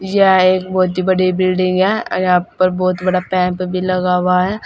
यह एक बहुत बड़ी बिल्डिंग है यहां पर बहुत बड़ा पैम्प भी लगा हुआ है।